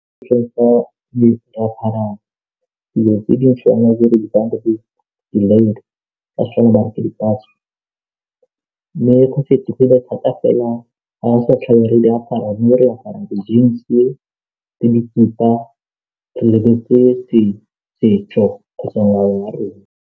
Ka Setswana ba re fela ga re sa tlhole re diapara mme re apara jeans le dikhipa re lebetse setso kgotsa ngwao wa rona.